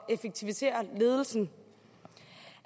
at effektivisere ledelsen